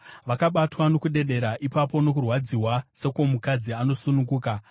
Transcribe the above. Vakabatwa nokudedera ipapo, nokurwadziwa sekwomukadzi osununguka.